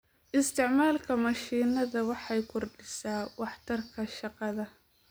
Isticmaalka mashiinada waxay kordhisaa waxtarka shaqada.